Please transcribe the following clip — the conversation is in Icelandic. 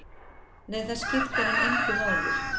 Nei, það skiptir hann engu máli.